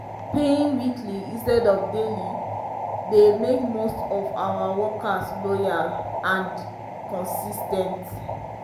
paying weekly instead of daily dey make most of our workers loyal and and consis ten t.